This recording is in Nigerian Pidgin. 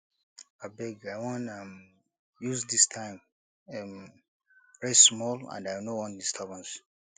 abeg i wan um use dis time um rest small and i no want disturbance